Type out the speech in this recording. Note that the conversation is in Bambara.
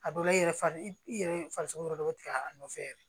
A dɔw la i yɛrɛ fa i yɛrɛ farisogo yɔrɔ dɔ bɛ tigɛ a nɔfɛ yɛrɛ